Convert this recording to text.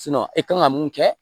e kan ka mun kɛ